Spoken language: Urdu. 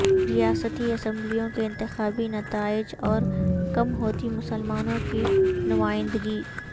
ریاستی اسمبلیوں کے انتخابی نتائج اور کم ہوتی مسلمانوں کی نمائندگی